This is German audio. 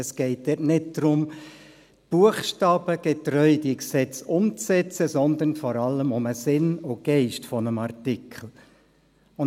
Es geht dort nicht darum, diese Gesetze buchstabengetreu umzusetzen, sondern vor allem um den Sinn und Geist eines Artikels.